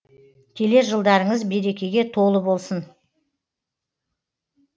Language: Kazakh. келер жылдарыңыз берекеге толы болсын